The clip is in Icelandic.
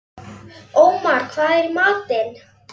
Ómar, hvað er í matinn?